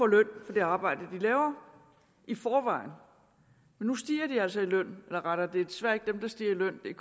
det arbejde de laver i forvejen nu stiger de altså i løn eller rettere det er desværre ikke dem der stiger i løn det er